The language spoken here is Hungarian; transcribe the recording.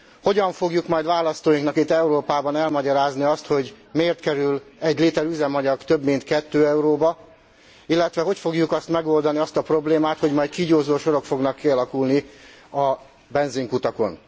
Hogyan fogjuk majd választóinknak itt Európában elmagyarázni azt, hogy miért kerül egy liter üzemanyag több mint 2 euróba, illetve hogy fogjuk majd megoldani azt a problémát, hogy majd kígyózó sorok fognak kialakulni a benzinkutakon?